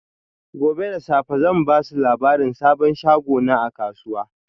Gobe da safe zan ba su labarin sabon shagona a kasuwa.